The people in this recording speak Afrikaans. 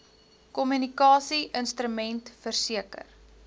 kommunikasie instrument verseker